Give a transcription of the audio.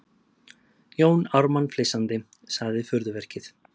Jón Ármann flissandi:- Sagði furðuverkið.